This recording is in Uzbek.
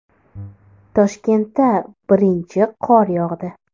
Toshkentda birinchi qor yog‘di.